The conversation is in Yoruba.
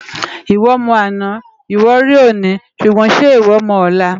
Iwò mò àná iwò ri óni ṣúgbòn ṣè iwò mò òlá?